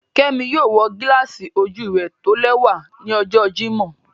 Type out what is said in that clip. Kẹmí yóò wọ gíláàsì ojú rẹ̀ tólẹwa ní ọ̀jọ́ Jímọ̀